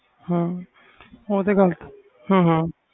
ਹਾਂ ਉਹ ਤੇ ਗੱਲ ਹਾਂ ਹਾਂ